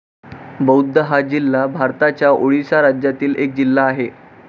बौध हा जिल्हा भारताच्या ओडिसा राज्यातील एक जिल्हा आहे